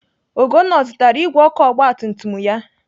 Ugonna ọ zụtara igwe ọkụ ogbatumtum ya?